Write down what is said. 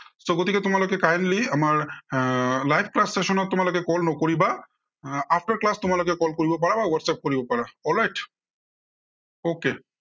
so গতিকে তোমালোকে kindly আমাৰ আহ live class session ত তোমালোকে call নকৰিবা, আহ after class তোমালোকে call কৰিব পাৰা বা ৱাটচএপ কৰিব পাৰা। alright okay